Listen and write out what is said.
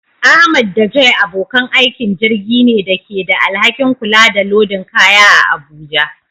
Ahmad da Joy abokan aikin jirgin ne da ke da alhakin kula da lodin kaya a Abuja.